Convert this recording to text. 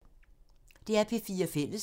DR P4 Fælles